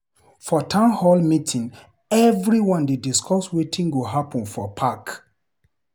For town hall meeting, everyone dey discuss wetin go happen for park.